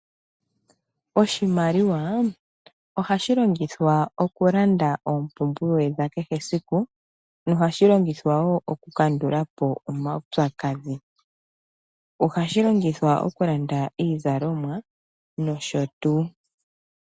Oshimaliwa ohashi longithwa okulanda oompumbwe dha kehe esiku nohashi longithwa wo okukandula po omaupyakadhi. Ohashi longithwa okulanda iizalomwa nosho tuu.